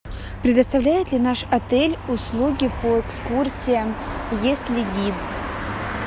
предоставляет ли наш отель услуги по экскурсиям есть ли гид